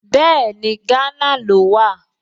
Bẹ́ẹ̀ni, Gánà ló wà